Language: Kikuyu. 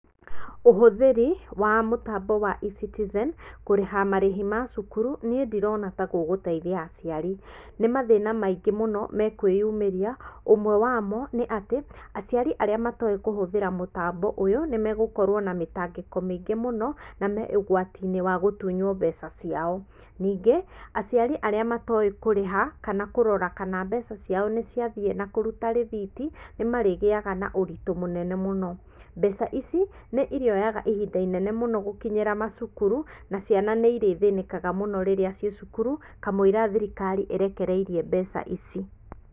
Ũhũthĩri wa mũtambo wa eCitizen kũrĩha marĩhi ma cukuru, niĩ ndirona ta gũgũteithia aciari, nĩ mathĩna maingĩ mũno mekwĩyumĩria, ũmwe wamo nĩ atĩ, aciari arĩa matoĩ kũhũthĩra mũtambo ũyũ nĩ megũkorwo na mĩtangĩko mĩingĩ mũno, na me ũgwatiinĩ wa gũtunywo mbeca ciao. Ningĩ aciari arĩa matoĩ kũrĩha kana kũrora kana mbeca ciao nĩ ciathiĩ na kũruta rithiti, nĩ marĩgĩaga na ũritũ mũnene mũno, mbeca ici nĩ ĩrĩoyaga ihinda ĩnene mũno gũkinyĩra macukuru, na ciana nĩ ĩrĩthĩnĩkaga mũno rĩrĩa ciĩ cukuru, kamũira thirikari ĩrekereirie mbeca ici.